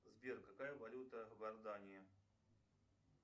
сбер какая валюта в иордании